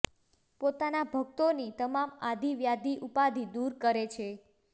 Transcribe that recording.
પોતાના ભક્તોની તમામ આધિ વ્યાધિ ઉપાધિ દૂર કરે છે